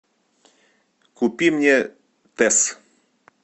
купи мне тесс